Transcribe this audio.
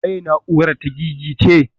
Waye na'urar ta gigice?